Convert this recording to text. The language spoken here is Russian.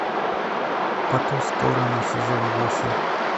по ту сторону сезон восемь